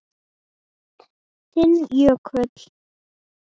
Þinn Jökull.